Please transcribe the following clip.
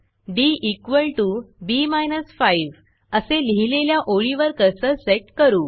db 5 असे लिहिलेल्या ओळीवर कर्सर सेट करू